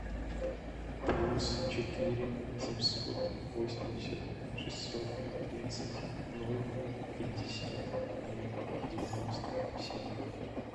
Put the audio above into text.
плюс четыре семьсот восемьдесят шестьсот тридцать ноль пятьдесят ноль девяносто семь